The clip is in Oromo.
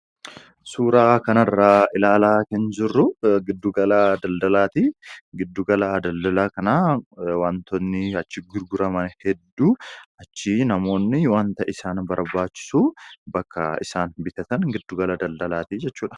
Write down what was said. Suuraa kanarra ilaalaa kan jirru giddugalaa daldalaati. giddugalaa daldalaa kanaa wantoonni achi gurguraman hedduu achi namoonni wanta isaan barbaachisu bakka isaan bitatan giddugala daldalaati jechuudha.